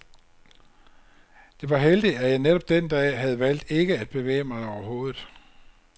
Det var heldigt, at jeg netop den dag havde valgt ikke at bevæge mig overhovedet.